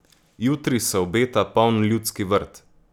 Jutri se obeta poln Ljudski vrt.